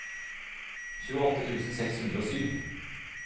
tjueåtte tusen seks hundre og sju